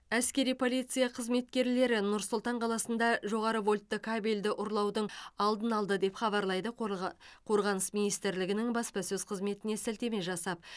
әскери полиция қызметкерлері нұр сұлтан қаласында жоғары вольтты кабельді ұрлаудың алдын алды деп хабарлайды қорға қорғаныс министрлігінің баспасөз қызметіне сілтеме жасап